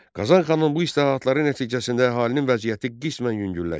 Qazan xanın bu islahatları nəticəsində əhalinin vəziyyəti qismən yüngülləşdi.